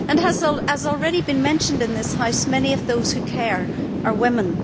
As has already been mentioned in this House, many of those who care are women.